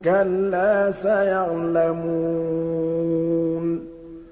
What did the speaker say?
كَلَّا سَيَعْلَمُونَ